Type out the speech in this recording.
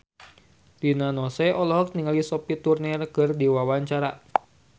Rina Nose olohok ningali Sophie Turner keur diwawancara